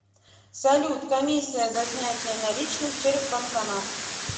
салют комиссия за снятие наличных через банкомат